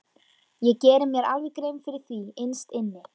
Ég geri mér alveg grein fyrir því innst inni.